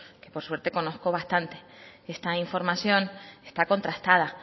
que por suerte conozco bastantes esta información está contrastada